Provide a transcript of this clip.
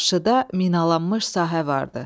Qarşıda minalanmış sahə vardı.